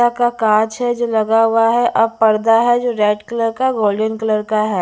का काँच है जो लगा हुआ है अब पर्दा है जो रेड कलर का गोल्डन कलर का है।